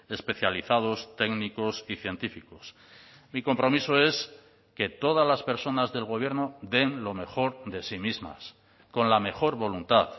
especializados técnicos y científicos mi compromiso es que todas las personas del gobierno den lo mejor de sí mismas con la mejor voluntad